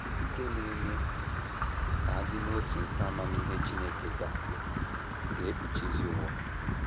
Ikike na - eme ka a dị n’otu nke amamihe Chineke ga ga - ekpuchizi ụwa.